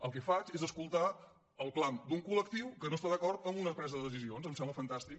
el que faig és escoltar el clam d’un col·lectiu que no està d’acord amb una presa de decisions em sembla fantàstic